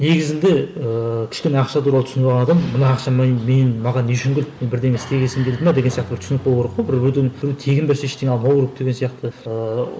негізінде ыыы кішкене ақша туралы түсініп алған адам мына ақша мен маған не үшін керек бердеңе істегесін берді ме деген сияқты түсінік болу керек қой біреуден тегін берсе ештеңе алмау керек деген сияқты ыыы